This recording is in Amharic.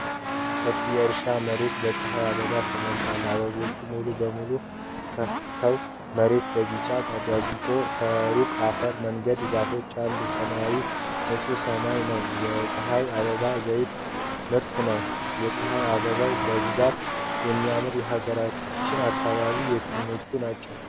ሰፊ የእርሻ መሬት በፀሐይ አበባ ተሞልቷል። አበቦቹ ሙሉ በሙሉ ከፍተው፣ መሬቱ በቢጫ ደምቋል። ከሩቅ የአፈር መንገድና ዛፎች አሉ። ሰማዩ ንጹህና ሰማያዊ ነው። የፀሐይ አበባ ዘይት ምርት ነው። የፀሐይ አበባን በብዛት የሚያመርቱ የሀገራችን አካባቢዎች የትኞቹ ናቸው?